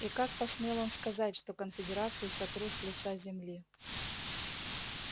и как посмел он сказать что конфедерацию сотрут с лица земли